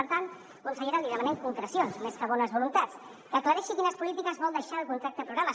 per tant consellera li demanem concrecions més que bones voluntats que aclareixi quines polítiques vol deixar el contracte programa